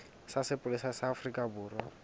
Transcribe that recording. sa sepolesa sa afrika borwa